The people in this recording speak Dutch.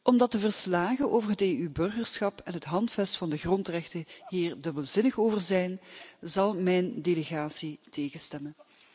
Omdat de verslagen over het EU-burgerschap en het Handvest van de grondrechten hier dubbelzinnig over zijn, zal mijn delegatie tegenstemmen.